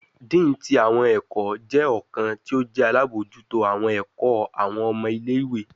Dean ti awọn ẹkọ jẹ ọkan ti o jẹ alabojuto awọn ẹkọ awọn ọmọ ile-iwe